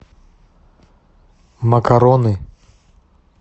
макароны